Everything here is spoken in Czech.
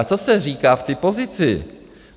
A co se říká v té pozici?